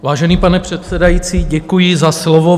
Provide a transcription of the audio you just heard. Vážený pane předsedající, děkuji za slovo.